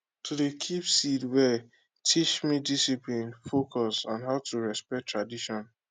to dey keep seed well teach me discipline focus and how to respect tradition